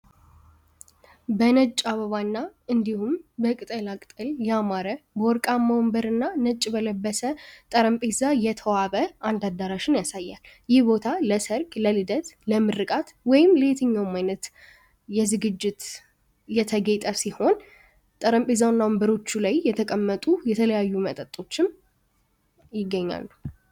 በነጭ አበባና እንዲሁም በቅጠላቅጠል ወንበር እና ነጭ በለበሰ ጠረጴዛ አዳራሽን ያሳያል ይህ ቦታ ለሰርግ ለልደት ወይም ለምርቃት በየትኛውም አይነት ዝግጅት የተጌጠ እና የተቀመጠ የሆነ ጠረጴዛና ወንበሮች ላይ የተቀመጡ የተለያዩ መጠጦች የሚገኛሉ።